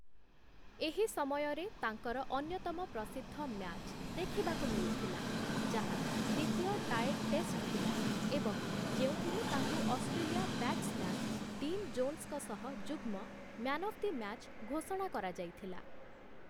ଏହି ସମୟରେ ତାଙ୍କର ଅନ୍ୟତମ ପ୍ରସିଦ୍ଧ ମ୍ୟାଚ୍ ଦେଖିବାକୁ ମିଳିଥିଲା, ଯାହା ଦ୍ୱିତୀୟ ଟାଏଡ୍‌ ଟେଷ୍ଟ ଥିଲା ଏବଂ ଯେଉଁଥିରେ ତାଙ୍କୁ ଅଷ୍ଟ୍ରେଲିଆ ବ୍ୟାଟ୍ସମ୍ୟାନ୍ ଡିନ୍ ଜୋନ୍ସଙ୍କ ସହ ଯୁଗ୍ମ ମ୍ୟାନ୍ ଅଫ୍ ଦି ମ୍ୟାଚ୍ ଘୋଷଣା କରାଯାଇଥିଲା ।